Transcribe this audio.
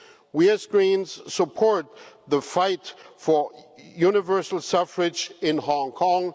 We, as Greens, support the fight for universal suffrage in Hong Kong.